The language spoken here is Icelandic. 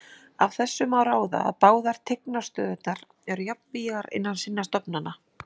Af þessu má ráða að báðar tignarstöðurnar eru jafnvígar innan sinna stofnana.